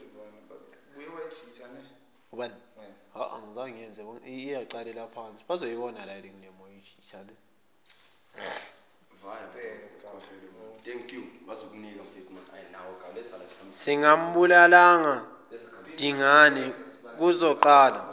singambulalanga dingane kuzoqala